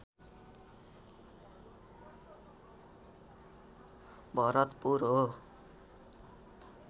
भरतपुर हो